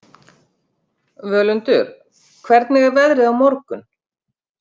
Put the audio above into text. Völundur, hvernig er veðrið á morgun?